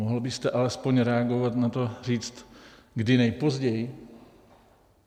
Mohl byste alespoň reagovat na to, říct, kdy nejpozději?